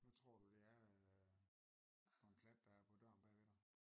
Hvad tror du det er øh for en plet der er på døren bag ved dig?